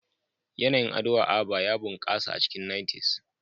Yanayin ado a Aba ya bunƙasa a cikin 90s.